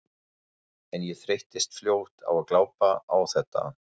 En ég þreyttist fljótt á að glápa á þetta.